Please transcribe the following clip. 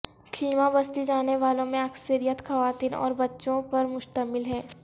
خیمہ بستی جانے والوں میں اکثریت خواتین اور بچوں پر مشتمل ہے